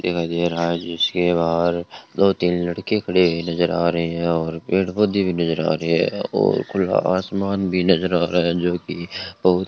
दिखाई दे रहा है जिसके बाहर दो तीन लड़के खड़े हुए नजर आ रहे हैं और पेड़ पौधे भी नजर आ रहे हैं और खुला आसमान भी नजर आ रहा है जोकि बहुत --